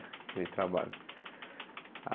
Aquele trabalho.